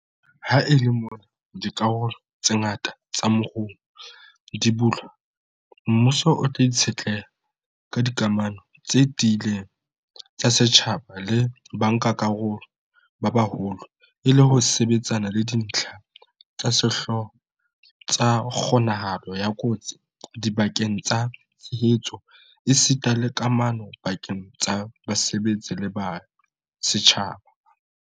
Ha e le mona dikarolo tse ngata tsa moruo di bulwa, mmuso o tla itshetleha ka dikamano tse tiileng tsa setjhaba le bankakarolo ba baholo e le ho sebetsana le dintlha tsa sehlooho tsa kgo-nahalo ya kotsi dibakeng tsa tshebetso esita le kamano pa-keng tsa basebetsi le setjhaba.